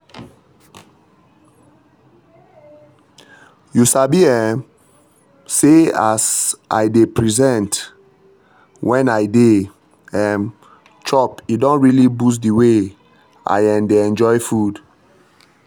you sabi um say as as i dey present when i dey um chop e don really boost the way i um dey enjoy food.